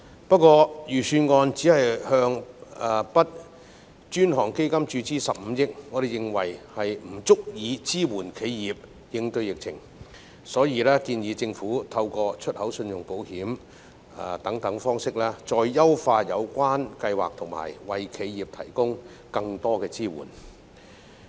不過，預算案只向 BUD 專項基金注資15億元，我們認為不足以支援企業應對疫情，所以我們建議政府透過出口信用保險等方式，再優化有關計劃及為企業提供更多支援。